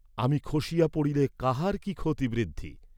আমি খসিয়া পড়িলে কাহার কি ক্ষতিবৃদ্ধি?